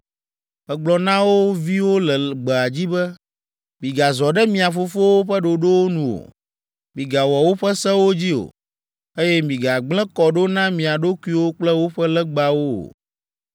Megblɔ na wo viwo le gbea dzi be, “Migazɔ ɖe mia fofowo ƒe ɖoɖowo nu o, migawɔ woƒe sewo dzi o, eye migagblẽ kɔ ɖo na mia ɖokuiwo kple woƒe legbawo o.